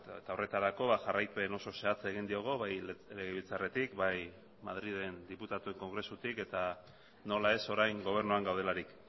eta horretarako jarraipen oso zehatza egin diogu bai legebiltzarretik bai madrilen diputatuen kongresutik eta nola ez orain gobernuan gaudelarik